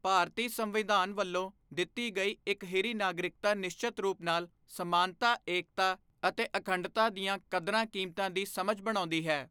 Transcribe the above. ਭਾਰਤੀ ਸੰਵਿਧਾਨ ਵੱਲੋਂ ਦਿੱਤੀ ਗਈ ਇਕਹਿਰੀ ਨਾਗਰਿਕਤਾ ਨਿਸ਼ਚਤ ਰੂਪ ਨਾਲ ਸਮਾਨਤਾ ਏਕਤਾ ਅਤੇ ਅਖੰਡਤਾ ਦੀਆਂ ਕਦਰਾਂ ਕੀਮਤਾਂ ਦੀ ਸਮਝ ਬਣਾਉਂਦੀ ਹੈ।